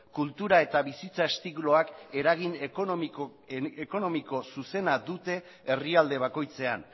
kultura eta bizitza estiloak eragin ekonomiko zuzena dute herrialde bakoitzean